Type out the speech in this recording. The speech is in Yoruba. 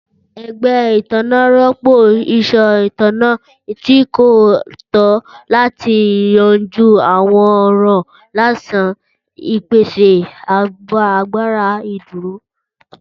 Ẹgbẹ itanna rọpo iṣan itanna ti ko tọ lati yanju awọn ọran laisi ipese agbara iduro.